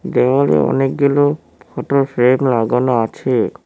দেওয়ালে অনেকগুলো ফটোর ফ্রেম লাগানো আছে।